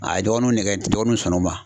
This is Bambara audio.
A ye dɔgɔnunw nɛgɛ dɔgɔnunw sɔnna o ma.